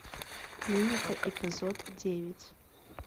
клиника эпизод девять